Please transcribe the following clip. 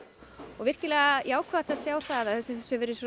og virkilega jákvætt að sjá að þessu hefur